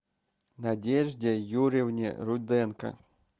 надежде юрьевне руденко